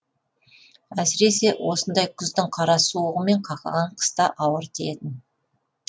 әсіресе осындай күздің қара суығы мен қақаған қыста ауыр тиетін